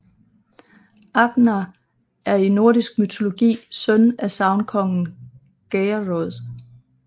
Agnar er i nordisk mytologi søn af sagnkongen Geirrød